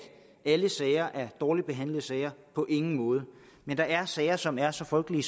alle sager er dårligt behandlede sager på ingen måde men der er sager som er så frygtelige